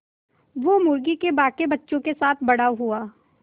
वो मुर्गी के बांकी बच्चों के साथ बड़ा हुआ